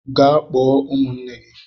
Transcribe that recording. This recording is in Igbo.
Gaa kpọọ m ụmụnne gị.